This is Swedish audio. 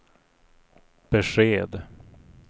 besked